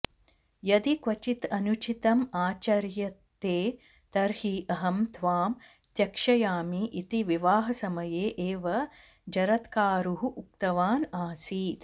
यदि क्वचित् अनुचितम् आचर्यते तर्हि अहं त्वाम् त्यक्ष्यामि इति विवाहसमये एव जरत्कारुः उक्तवान् आसीत्